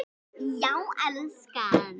Já, elskan.